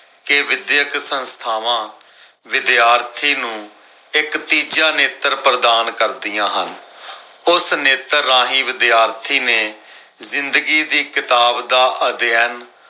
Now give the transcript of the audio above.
ਕੇ ਵਿਧਿਅਕ ਸੰਸਥਾਵਾਂ ਵਿਦਿਆਰਥੀ ਨੂੰ ਇਕ ਤੀਜਾ ਨੇਤਰ ਪ੍ਰਦਾਨ ਕਰਦੀਆਂ ਹਨ, ਉਸ ਨੇਤਰ ਰਾਹੀਂ ਵਿਦਿਆਰਥੀ ਨੇ ਜ਼ਿੰਦਗੀ ਦੀ ਕਿਤਾਬ ਦਾ ਅਧਿਐਨ